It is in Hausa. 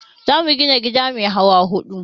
Za mu gina gida mai hawa huɗu